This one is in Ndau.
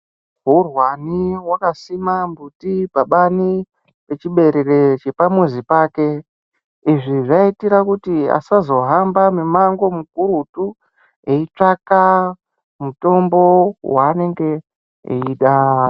Hurwani wakasima mbuti pabani pechiberere chemuzi wake. Izvi zvaiitira kuti asazohamba mumango mukurutu eitsvaka mutombo wanenge eida.